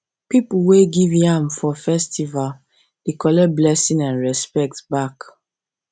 people wey give ram for festival dey collect blessing and respect back